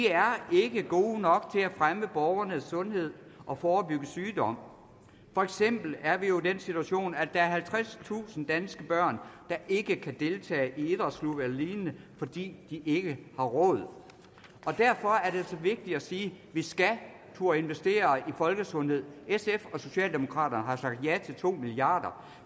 er ikke gode nok til at fremme borgernes sundhed og forebygge sygdom for eksempel er vi jo i den situation at halvtredstusind danske børn ikke kan deltage i idrætsklubber eller lignende fordi de ikke har råd og derfor er det så vigtigt at sige at vi skal turde investere i folkesundhed sf og socialdemokraterne har sagt ja til to milliard